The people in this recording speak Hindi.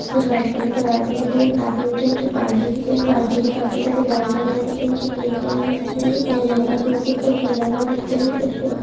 कुछ व्हाइट कलर के बादल दिख रहे है काफी ऊंचे ऊंचे पहाड़ भी दिख रहे है पहाड़ पे भी काफी सारी घास वगेरे दिख रही है जो ग्रीन कलर मे दिख रही है और यहां पर दूर दूर तक फैला हुआ दिख रहे है कुछ पेड़--